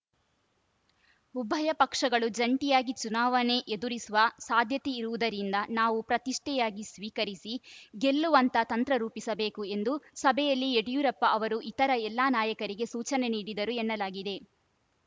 ಉಭಯ ಪಕ್ಷಗಳು ಜಂಟಿಯಾಗಿ ಚುನಾವಣೆ ಎದುರಿಸುವ ಸಾಧ್ಯತೆ ಇರುವುದರಿಂದ ನಾವು ಪ್ರತಿಷ್ಠೆಯಾಗಿ ಸ್ವೀಕರಿಸಿ ಗೆಲ್ಲುವಂತ ತಂತ್ರ ರೂಪಿಸಬೇಕು ಎಂದು ಸಭೆಯಲ್ಲಿ ಯಡಿಯೂರಪ್ಪ ಅವರು ಇತರ ಎಲ್ಲ ನಾಯಕರಿಗೆ ಸೂಚನೆ ನೀಡಿದರು ಎನ್ನಲಾಗಿದೆ